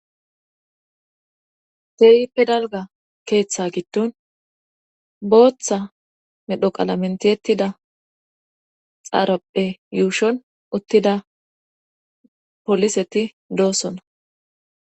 te7i pedalga keeththa gitton booththa medhoqala mentiyettida xaarapphe yuushon uttida poliseti doosona